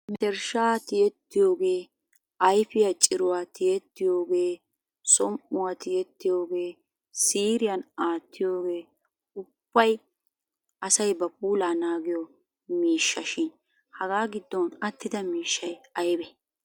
Mentershshaa tiyettiyoogee ayfiya ciruwaa tiyettiyoogee som'uwa tiyettiyoogee siiriyan aattiyoogee ubbay asay ba puulaa naagiyo miishsha shin hagaa giddon attida miishshay aybee ?